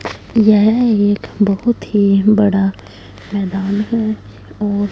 यह एक बहुत ही बड़ा मैदान है और--